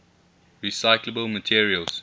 recyclable materials